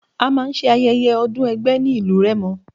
A máa ń ṣe Ayẹyẹ ọdún ẹgbẹ́ ní ìlú Rẹ́mọ.